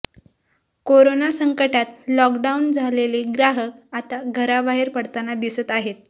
corona संकटात lockdown झालेले ग्राहक आता घराबाहेर पडताना दिसत आहेत